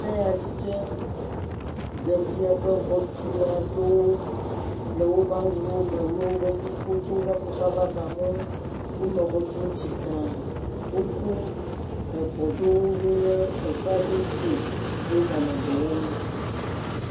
Eya tsɛ ɖe fia be xɔtulawo le woƒe awuwo me ʋe woƒe kukuwo do woƒe afɔkpa vavã ma wo, wonɔ xɔ tum tsikãŋ. Wokɔ gakpo ɖo ɖe kpe aɖewo dzi ye woganɔ dɔ wɔm.